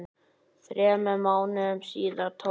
Þremur mánuðum síðar tók